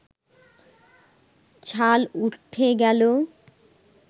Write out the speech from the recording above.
ছাল উঠে গেল